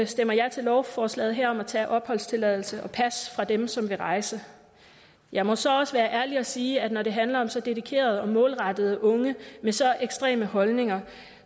stemmer ja til lovforslaget her om at tage opholdstilladelse og pas fra dem som vil rejse jeg må så også være ærlig og sige at når det handler om så dedikerede og målrettede unge med så ekstreme holdninger